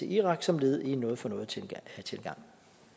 irak som led i en noget for noget tilgang